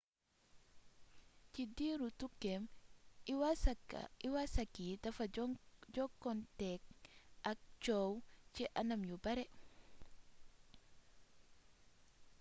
ci diiru tukkeem iwasaki dafa jokkonteeg ak coow ci anam yu bare